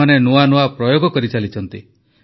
ସେମାନେ ନୂଆ ନୂଆ ପ୍ରୟୋଗ କରିଚାଲିଛନ୍ତି